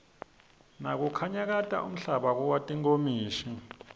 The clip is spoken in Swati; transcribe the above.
nakunyakata umhlaba kuwa tinkomishi